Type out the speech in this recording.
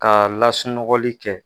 K'a lasunɔgɔli kɛ.